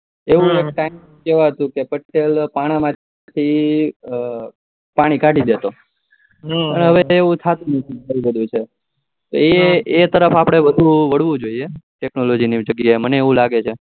એવું કેવાતું કે પટેલ પાના માંથી પાણી કાઢી દેતો અને હવે તો એવું થાતું જ નથી હવે એ તફર આપડે વધુ વરવું જોઈએ technology મી જગ્યાએ મને એવું લાગે છે